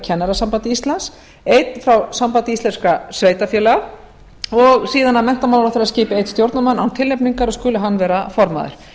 kennarasambandi íslands einn frá sambandi íslenskra sveitarfélaga og síðan á menntamálaráðherra eftir að skipa einn stjórnarmann án tilnefningar og skuli hann vera formaður